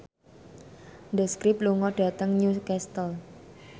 The Script lunga dhateng Newcastle